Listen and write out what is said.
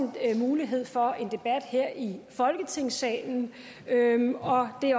mulighed for en debat her i folketingssalen og det